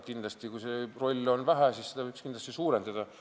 Kui see roll on väike, siis seda võiks kindlasti suurendada.